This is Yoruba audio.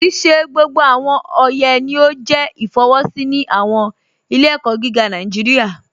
Kíì ṣè gbogbo awọn ọyẹ ni o jẹ ifọwọsi ni awọn ilẹ̀-ẹ̀kọ gígà Nàìjíríà.